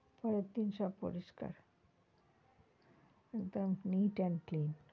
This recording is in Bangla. পরের দিন সব পরিস্কার একদম neat and clean